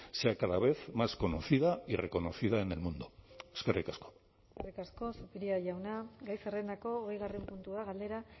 sea cada vez más conocida y reconocida en el mundo eskerrik asko eskerrik asko zupiria jauna gai zerrendako hogeigarren puntua galdera